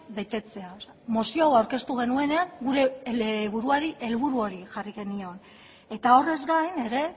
betetzea mozio hau aurkeztu genuenean gure buruari helburu hori jarri genion eta horrez gain ere